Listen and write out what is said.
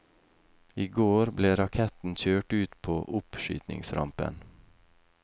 I går ble raketten kjørt ut på oppskytingsrampen.